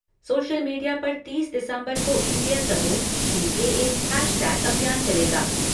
Social media पर तीस दिसंबर को इंडिया स्पोर्ट सीएए हैशटैग अभियान चलेगा।